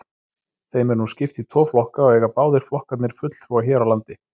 Þeim er nú skipt í tvo flokka og eiga báðir flokkarnir fulltrúa hér á landi.